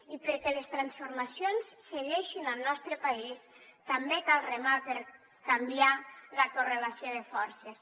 i perquè les transformacions segueixin al nostre país també cal remar per canviar la correlació de forces